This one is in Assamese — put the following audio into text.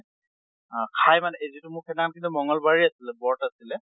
আহ খাই মানে এই যিটো মোৰ সেইদিনাখনে মঙ্গল বাৰে আছিলে, ব্ৰত আছিলে